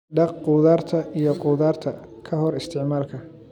Dhaq khudaarta iyo khudaarta ka hor isticmaalka.